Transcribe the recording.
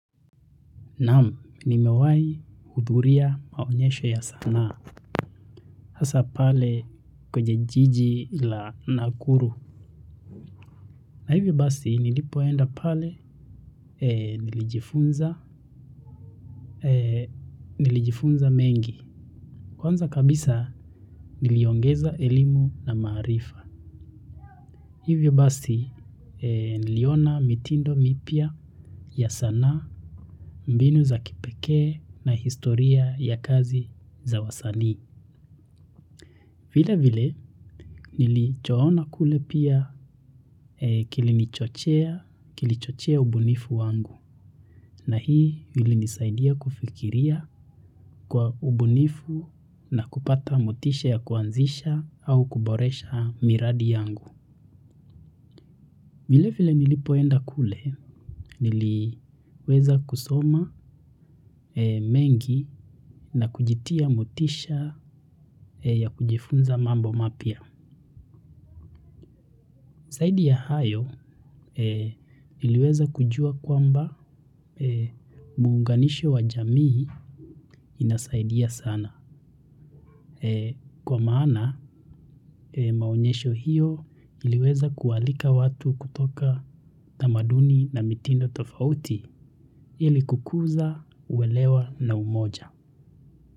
Nam, ni mewahi udhuria maonyesho ya sanaa. Hasa pale kwenye jiji la nakuru. Na hivyo basi, nilipoenda pale nilijifunza mengi. Kwanza kabisa, niliongeza elimu na maarifa. Hivyo basi, niliona mitindo mipya ya sanaa mbinu za kipekee na historia ya kazi za wasani. Vile vile nilichoona kule pia kilichochea ubunifu wangu na hii nilisaidia kufikiria kwa ubunifu na kupata motisha ya kuanzisha au kuboresha miradi yangu. Vile vile nilipoenda kule niliweza kusoma mengi na kujitia motisha ya kujifunza mambo mapya. Zaida ya hayo iliweza kujua kwamba muunganisho wa jamii inasaidia sana. Kwa maana maonyesho hiyo iliweza kualika watu kutoka tamaduni na mitindo tofauti ili kukuza uwelewa na umoja.